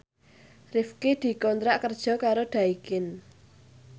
Rifqi dikontrak kerja karo Daikin